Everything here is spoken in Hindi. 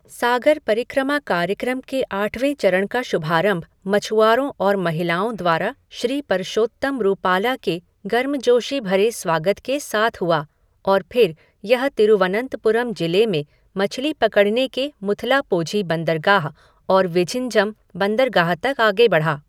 सागर परिक्रमा कार्यक्रम के आठवें चरण का शुभारंभ मछुआरों और महिलाओं द्वारा श्री परशोत्तम रूपाला के गर्मजोशी भरे स्वागत के साथ हुआ और फिर यह तिरुवनंतपुरम जिले में मछली पकड़ने के मुथलापोझी बंदरगाह और विझिंजम बंदरगाह तक आगे बढ़ा।